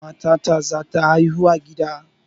Matata zata haihu a gida